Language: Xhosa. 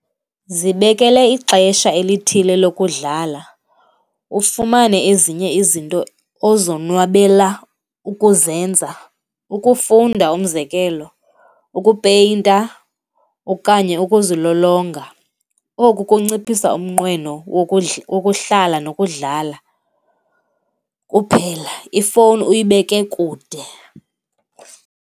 Zibekele ixesha elithile lokudlala, ufumane ezinye izinto ozonwabela ukuzenza. Ukufunda, umzekelo, ukupeyinta okanye ukuzilolonga. Oku kunciphisa umnqweno wokuhlala nokudlala kuphela. Ifowuni uyibeke kude.